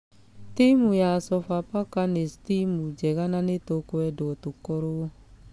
Timũ ya sofapaka nĩ timũ njega na nĩtũkwendwo tũkorwo......